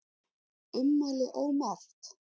Ummæli ómerkt